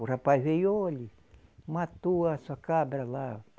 O rapaz veio, olhe, matou a sua cabra lá.